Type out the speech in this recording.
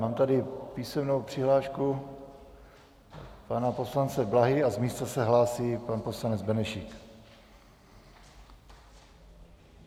Mám tady písemnou přihlášku pana poslance Blahy a z místa se hlásí pan poslanec Benešík.